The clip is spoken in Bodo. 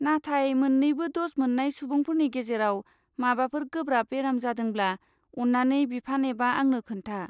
नाथाय मोन्नैबो द'ज मोन्नाय सुबुंफोरनि गेजेराव माबाफोर गोब्राब बेराम जादोंब्ला अन्नानै बिफान एबा आंनो खोन्था।